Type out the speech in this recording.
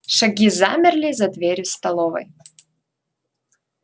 шаги замерли за дверью столовой